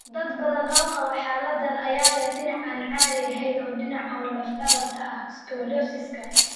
Dad badan oo qaba xaaladdan ayaa leh dhinac aan caadi ahayn oo dhinac ah oo laf dhabarta ah (scoliosiska).